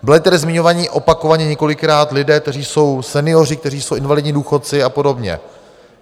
Byli tady zmiňovaní opakovaně několikrát lidé, kteří jsou senioři, kteří jsou invalidní důchodci a podobně.